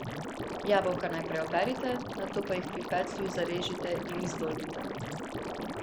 Jabolka najprej operite, nato pa jih pri peclju zarežite in izdolbite.